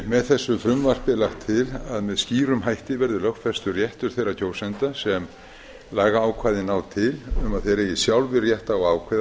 með þessu frumvarpi er lagt til að með skýrum hætti verði lögfestur réttur þeirra kjósenda sem lagaákvæði ná til um að þeir eigi sjálfir rétt á að ákveða